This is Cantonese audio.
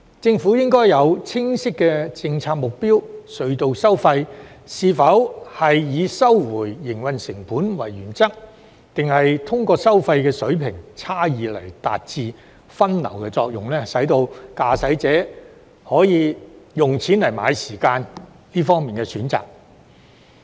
政府應該有清晰的政策目標：隧道收費是以收回營運成本為原則，抑或通過收費水平差異而達致分流作用，使駕駛者可以有"用錢買時問"的選擇呢？